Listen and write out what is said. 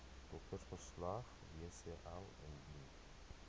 doktersverslag wcl indien